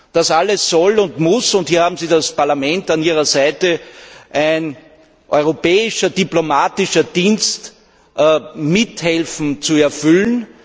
Das alles soll und muss und hier haben Sie das Parlament an Ihrer Seite ein Europäischer Auswärtiger Dienst mithelfen zu erfüllen.